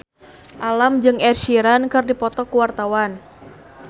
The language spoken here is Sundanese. Alam jeung Ed Sheeran keur dipoto ku wartawan